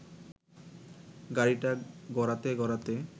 গাড়িটা গড়াতে গড়াতে